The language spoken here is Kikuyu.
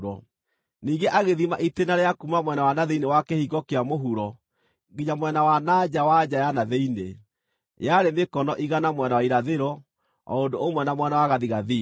Ningĩ agĩthima itĩĩna rĩa kuuma mwena wa na thĩinĩ wa kĩhingo kĩa mũhuro nginya mwena wa na nja wa nja ya na thĩinĩ; yarĩ mĩkono igana mwena wa irathĩro, o ũndũ ũmwe na mwena wa gathigathini.